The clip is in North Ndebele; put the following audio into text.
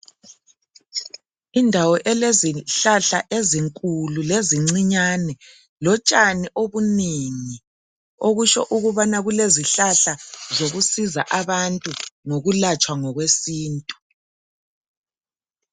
Indawo elezihlahla ezinkulu lezincane lotshani obunengi okutsho ukubana kulezihlahla zokuzisiza abantu ngokulapha ngesintu.